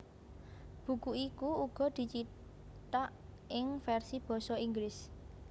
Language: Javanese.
Buku iku uga dicithak ing versi basa Inggris